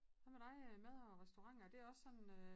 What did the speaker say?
Hvad med dig øh mad og restauranter er det også sådan øh